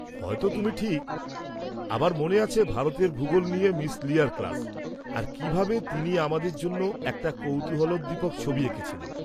হয়তো তুমি ঠিক! আমার মনে আছে ভারতের ভুগোল নিয়ে মিস লিয়ার ক্লাস, আর কিভাবে তিনি আমাদের জন্য একটা কৌতূহলোদ্দীপক ছবি এঁকেছিলেন।